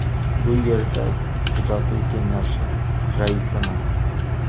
Bu yerda kuzatuv kengashi raisiman.